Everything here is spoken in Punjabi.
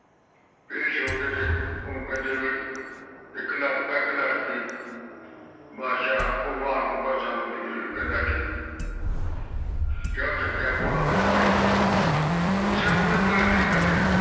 ਪੇਸ਼ ਹੋਕਜੇ ਓਹਨੂੰ ਕਹਿੰਦੇ ਵਿਉ ਇਕ ਲੜਕਾ ਤੇ ਇਕ ਲੜਕਈ ਬਾਦਸ਼ਾਹ ਭਗਵਾਨ ਨੂੰ ਕਿਹੋ ਸਾਨੂ ਦੇ ਦਿਓ ਕੇਹਂਦਾਥਿਕ ਆ ਛਕਿਆ ਘੋੜਾ ਤੇ ਭਾਈ ਉਸੇ ਬੁੜ੍ਹੇ ਕੋਲ ਫੇਰ ਆ ਗਿਆ